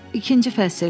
İkinci fəsil.